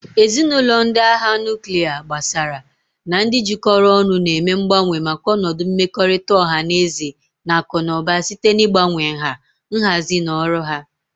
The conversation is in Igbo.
Ezinụlọ ndị agha nuklia, gbasaara, na ndị jikọrọ ọnụ na-eme mgbanwe maka ọnọdụ mmekọrịta ọha na eze na akụ na ụba site n'ịgbanwe nha, nhazi, na ọrụ ha.